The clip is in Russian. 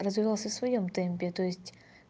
развивался в своём темпе то есть